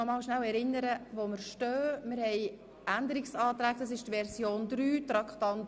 Ich möchte noch kurz daran erinnern, wo wir stehen: